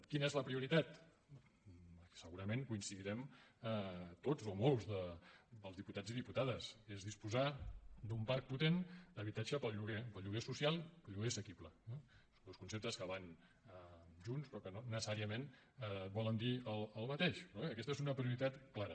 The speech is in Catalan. quina és la prioritat segurament hi coincidirem tots o molts dels diputats i diputades és disposar d’un parc potent d’habitatge per al lloguer per al lloguer social i per al lloguer assequible eh són dos conceptes que van junts però que no necessàriament volen dir el mateix però bé aquesta és una prioritat clara